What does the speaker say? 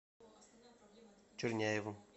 черняевым